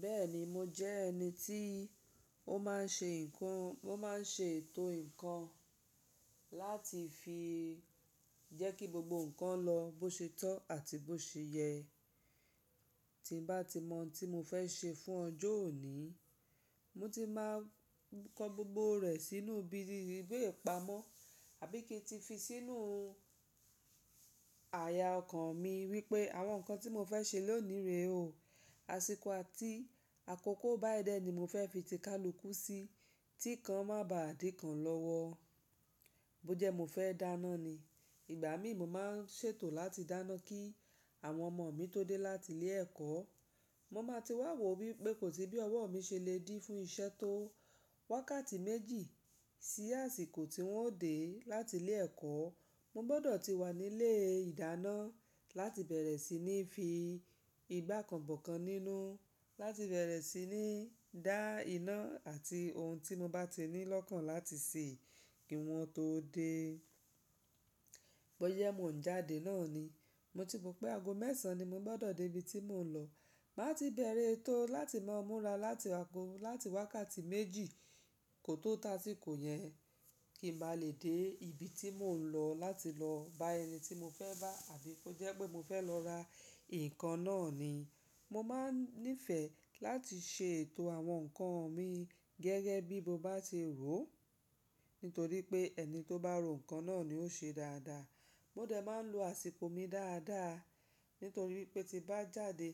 Bẹ́ẹ̀ni, mo jẹ́ ẹni tí ó máa ń ṣe nǹkan, mo máa ń ṣe ètò ǹkan láti fi jẹ́ kí gbogbo ǹkan lọ bó ṣe tọ́ àti bó ṣe yẹ. Tí n bá ti mọ̀ oun tí mo fẹ́ ṣe fún ọjọ́ òní, mo ti máa kọ gbogbo rẹ̀ sínú bi íi ìwe ipamọ́ àbí kí n ti fi sínú àyà ọkàn mi wípé àwọn ǹkan tí mo fẹ́ ṣe lónìí rè o. Àsìkò àti àkókò báyi dẹ́ ni mo fẹ́ fi tìkálùkù sí, tí kan má ba à di kan lọ́wọ́. Bó jẹ́ mo fẹ́ dáná ni, ìgbà mí mo máa ń ṣètò láti dáná kí àwọn ọmọ mi tó dé láti ilé ẹ̀kọ́. Mo máa ti wà wò wípé kòstí bí ọwọ́ mi ṣe le dí fún iṣẹ́ tó wákàtí méjì sí àsìkò tí wọ́n ó dè láti ilé ẹ̀kọ́. Mo gbọ́dọ̀ ti wà nílé ìdáná láti bẹ̀rẹ̀ sí ní fi ìgbá kanbọ̀ kan nínú, láti bẹ̀rẹ̀ sí ní dá iná àti ohun tí mo bá ti ní lọ́kàn láti sè kí wọ́n tó dé. Bó jẹ́ mó ń jáde náà ni, mo ti mọ̀ pé ago mẹ́san ni mo gbọ́dọ̀ dé ibi tí mò ń lọ. Máa ti bẹ̀rẹ̀ etó láti máa múra láti ago láti wákàtí méjì kò tó tasìkò yẹn kì má lè dé ibi tí mò ń lọ láti lọ bá ẹni tí mo fẹ́ bá àbí kó jẹ́ pé mo fẹ́ lọ ra nǹkan náà ni. Mo máa ń nífẹ̀ẹ́ láti ṣe ètò àwọn ǹkan mi gẹ́gẹ́ bí mo bá ti rò ó, nítorí pé ẹni tó bá ro ǹkan náà ni ó ṣe dáadáa. Mo dẹ̀ máa ń lo àsìkò mi dáadáa, nítorí pé tí bá jáde